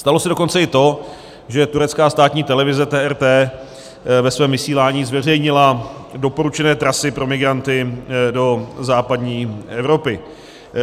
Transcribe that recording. Stalo se dokonce i to, že turecká státní televize TRT ve svém vysílání zveřejnila doporučené trasy pro migranty do západní Evropy.